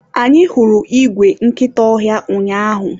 anyị hụrụ igwe nkịta ọhịa ụnyaahụ